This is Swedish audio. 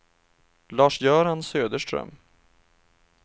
Lars-Göran Söderström